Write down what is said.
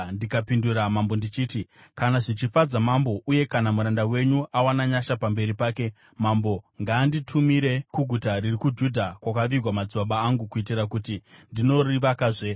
ndikapindura mambo ndichiti, “Kana zvichifadza mambo uye kana muranda wenyu awana nyasha pamberi pake, mambo ngaanditumire kuguta riri kuJudha kwakavigwa madzibaba angu kuitira kuti ndinorivakazve.”